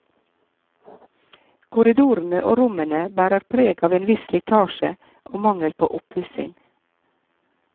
Korridorene og rommene bærer preg av en viss slitasje og mangel på oppussing.